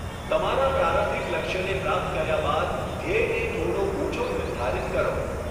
તમારા પ્રારંભિક લક્ષ્યને પ્રાપ્ત કર્યા બાદ ધ્યેયને થોડો ઊંચો નિર્ધારિત કરો.